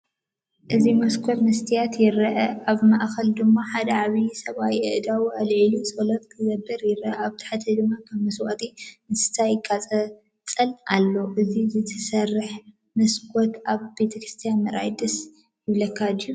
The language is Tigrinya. እዚ መስኮት መስትያት ይርአ። ኣብ ማእከሉ ድማ ሓደ ዓብይ ሰብኣይ ኣእዳዉ ኣልዒሉ ጸሎት ክገብር ይረአ። ኣብ ታሕቲ ድማ ከም መስዋእቲ እንስሳ ይቃጸል ኣሎ። ነዚ ዝተሰርሐ መስኮት ኣብ ቤተክርስትያን ምርኣይ ደስ ይብለካ ድዩ?